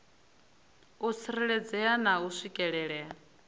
u tsireledzea na u swikelelea